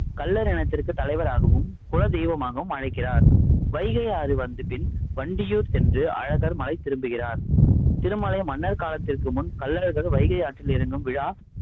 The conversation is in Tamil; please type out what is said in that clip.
கள்ளர் இனத்திற்கு தலைவராகவும் குல தெய்வமாகவும் அழைக்கிறார் வைகை ஆறு வந்து பின் வண்டியூர் சென்று, அழகர்மலை திரும்புகிறார். திருமலை மன்னர் காலத்திற்கு முன் கள்ளழகர் வைகை ஆற்றில் இறங்கும் விழா